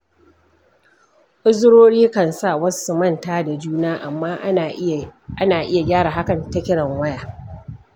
Uzurori kan sa wasu su manta da juna, amma ana iya gyara hakan ta kiran waya.